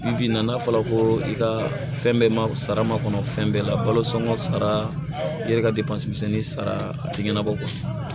Bi nana fɔ ko i ka fɛn bɛɛ ma sara makɔnɔ fɛn bɛɛ la baloson sara i yɛrɛ ka depasemɛni sara a tɛ ɲɛnabɔ